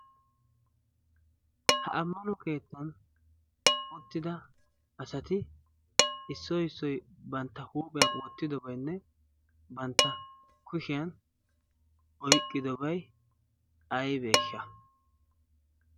ha ammano keettan uttida asati issoy issoy bantta huuphiyan wottidobaynne bantta hushiyan oyqqidobay aybeesha?